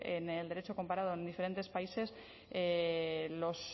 en el derecho comparado en diferentes países los